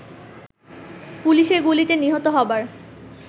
পুলিশের গুলিতে নিহত হবার